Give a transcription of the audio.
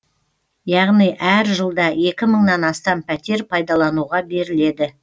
яғни әр жылда екі мыңнан астам пәтер пайдалануға беріледі